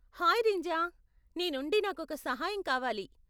Hi Rinja, నీ నుండి నాకొక సహాయం కావాలి.